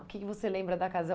O que você lembra da casa?